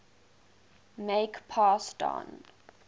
make pass don